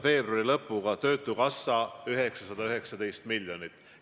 Veebruari lõpu seisuga oli töötukassas 919 miljonit.